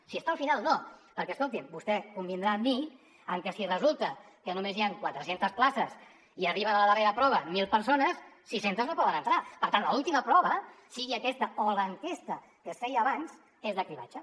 si està al final no perquè escolti vostè convindrà amb mi que si resulta que només hi ha quatre centes places i arriben a la darrera prova mil persones sis centes no poden entrar per tant l’última prova sigui aquesta o l’enquesta que es feia abans és de cribratge